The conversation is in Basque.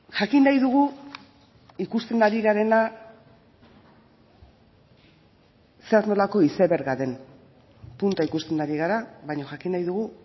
jakin nahi dugu ikusten ari garena zer nolako izeberga den punta ikusten ari gara baina jakin nahi dugu